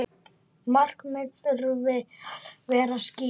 Markmið þurfi að vera skýr.